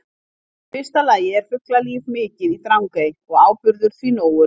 Í fyrsta lagi er fuglalíf mikið í Drangey og áburður því nógur.